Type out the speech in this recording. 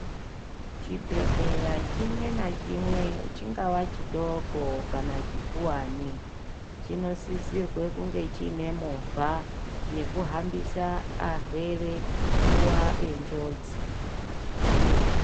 Chibhehleya chimwe ngachimwe ,chingava chidoko kana chikuwani .Chinosisirwe kunge chinemovha yekuhambise arwere nguwa yenjodzi.